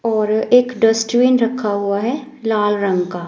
और एक डस्टबिन रखा हुआ है लाल रंग का।